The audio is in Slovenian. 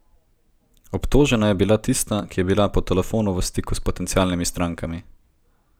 Obtožena je bila tista, ki je bila po telefonu v stiku s potencialnimi strankami.